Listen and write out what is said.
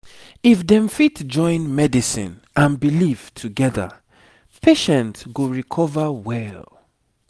if dem fit join medicine and belief together patient go recover well